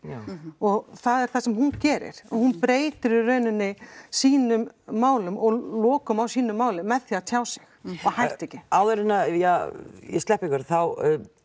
og það er það sem hún gerir hún breytir í raun sínum málum og lokum á sínu máli með því að tjá sig og hætta ekki áður en ég sleppi ykkur þá